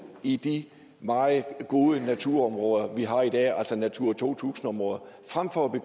i de meget gode naturområder vi har i dag altså natura to tusind områderne frem for at vi